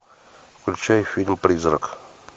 включай фильм призрак